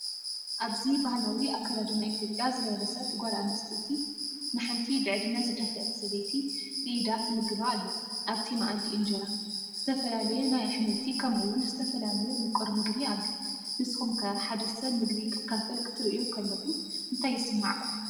ኣብዚ ባህላዊ ኣከዳድና ኢትዮጵያ ዝለበሰት ጓል ኣንስተይቲ፡ ንሓንቲ ብዕድመ ዝደፍአት ሰበይቲ ብኢዳ ትምግባ ኣላ። ኣብቲ መኣዲ እንጀራ፡ ዝተፈላለየ ናይ ኣሕምልቲ ከምኡ’ውን ዝተፈላለየ ምቁር ምግቢ ኣሎ። ንስኩም ከ ሓደ ሰብ ምግቢ ክካፈል ክትርኢዩ ከለኩም እንታይ ይስመዓኩም?